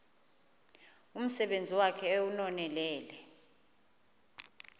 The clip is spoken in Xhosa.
umsebenzi wakhe ewunonelele